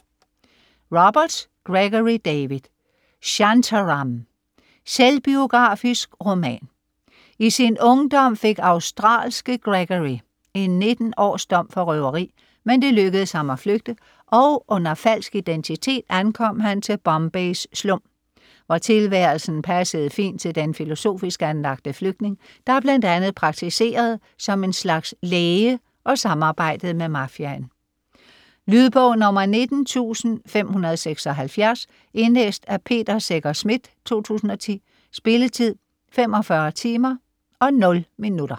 Roberts, Gregory David: Shantaram Selvbiografisk roman. I sin ungdom fik australske Gregory en 19 års dom for røveri, men det lykkedes ham at flygte, og under falsk identitet ankom han til Bombays slum, hvor tilværelsen passede fint til den filosofisk anlagte flygtning, der bl.a. praktiserede som en slags læge og samarbejdede med mafiaen. Lydbog 19576 Indlæst af Peter Secher Schmidt, 2010. Spilletid: 45 timer, 0 minutter.